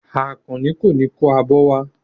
Àkànní kò ní kó abọ́ wá.